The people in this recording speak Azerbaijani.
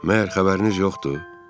Məyər xəbəriniz yoxdur?